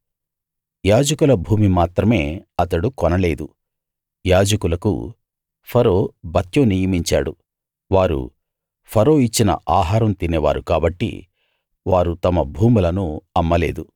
యాజకుల భూమి మాత్రమే అతడు కొనలేదు యాజకులకు ఫరో భత్యం నియమించాడు వారు ఫరో ఇచ్చిన ఆహారం తినే వారు కాబట్టి వారు తమ భూములను అమ్మలేదు